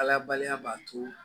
Ala baliya b'a to